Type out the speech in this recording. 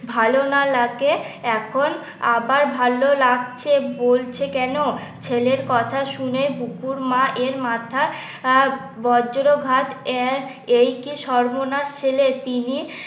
ভালো না লাগে এখন আবার ভালো লাগছে বলছে কেন ছেলের কথা শুনে বকুর মায়ের এর মাথা আহ বজ্রঘাত আহ একি সর্বনাশ ছেলে